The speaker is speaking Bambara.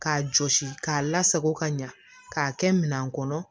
K'a jɔsi k'a lasago ka ɲa k'a kɛ minan kɔnɔ